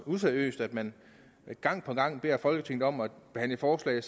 useriøst at man gang på gang beder folketinget om at behandle forslag